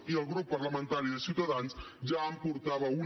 i el grup parlamentari de ciutadans ja en portava una